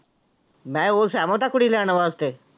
ਮੈਂ ਉਹ ਸਹਿਮਤ ਆ ਕੁੜੀ ਲੈਣ ਵਾਸਤੇ।